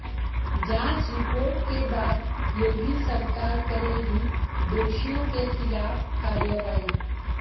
जांच रिपोर्ट के बाद योगी सरकार करेगी दोषियों के खिलाफ कार्रवाई